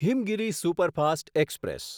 Himgiri superfast express